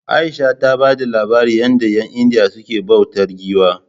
Aisha ta bada labarin yadda 'yan indiya suke bautar giwa